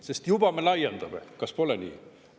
Sest juba me laiendame, kas pole nii?